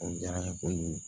O diyara n ye kojugu